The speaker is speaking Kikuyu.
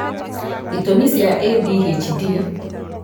itũmi cia ADHD